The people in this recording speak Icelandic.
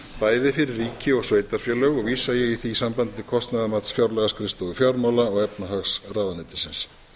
bæði fyrir ríki og sveitarfélög og vísa ég í því sambandi til kostnaðarmats fjárlagaskrifstofu fjármála og efnahagsráðuneytisins